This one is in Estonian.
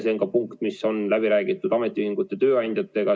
See on ka punkt, mis on läbi räägitud ametiühingute ja tööandjatega.